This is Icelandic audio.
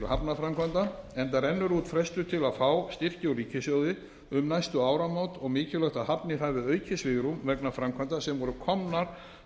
hafnarframkvæmda enda rennur út frestur til að fá styrki úr ríkissjóði um næstu áramót og mikilvægt að hafnir hafi aukið svigrúm vegna framkvæmda sem voru komnar